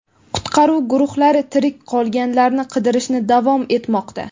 qutqaruv guruhlari tirik qolganlarni qidirishni davom etmoqda.